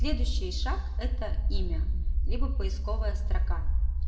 следующий шаг это имя либо поисковая строка